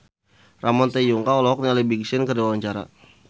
Ramon T. Yungka olohok ningali Big Sean keur diwawancara